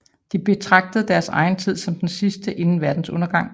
De betragtede deres egen tid som den sidste inden verdens undergang